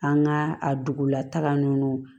An ka a dugulataga ninnu